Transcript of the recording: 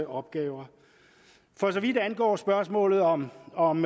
opgaver for så vidt angår spørgsmålet om om